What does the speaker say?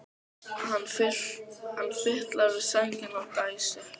Hann fitlar við sængina og dæsir.